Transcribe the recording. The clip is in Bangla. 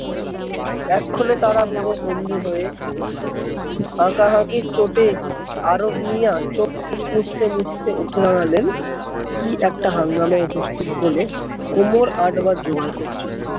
এক ক্ষনে তারা বুড়ো বন্ধু হয়ে উঠলো হাঁকা হাঁকির চোটে আরোগ মিঞা চুখ মুছতে মুছতে উঠে দাঁড়ালেন কি এক হাঙ্গামা উপস্থিত বলে কোমর আঁটবার জোয়াদ করছে